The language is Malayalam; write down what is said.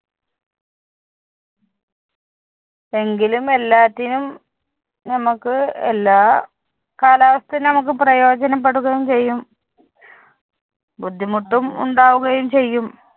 എങ്കിലും എല്ലാറ്റിനും നമുക്ക് എല്ലാ കാലാവസ്ഥയും നമുക്ക് പ്രയോജനപ്പെടുകയും ചെയ്യും. ബുദ്ധിമുട്ടും ഉണ്ടാവുകയും ചെയ്യും.